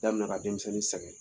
Damina ka denmisɛnnin sɛgɛn